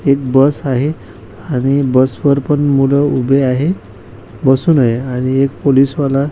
एक बस आहे आणि बस वर पण मुलं उभे आहे बसून आहे आणि एक पुलिस वाला --